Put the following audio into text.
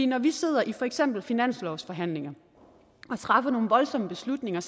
når vi sidder i for eksempel finanslovsforhandlinger og træffer nogle voldsomme beslutninger